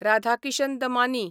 Radhakishan Damani